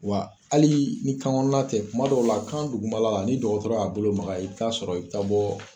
Wa hali ni kan kɔnɔna tɛ, kuma dɔw la kan duguma la ni dɔgɔtɔrɔ y'a bolo maka i bɛ taa sɔrɔ i bɛ taa bɔ